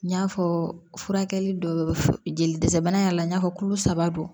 N y'a fɔ furakɛli dɔ jeli dɛsɛ bana y'a la n y'a fɔ kulo saba don